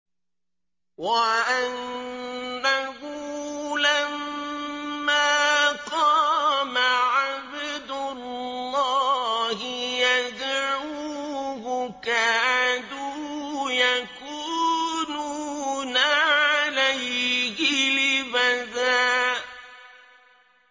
وَأَنَّهُ لَمَّا قَامَ عَبْدُ اللَّهِ يَدْعُوهُ كَادُوا يَكُونُونَ عَلَيْهِ لِبَدًا